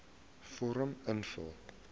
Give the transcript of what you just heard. vorm invul